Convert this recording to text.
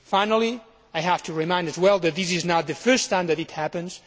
Finally, I have to remind you as well that this is not the first time that it has happened.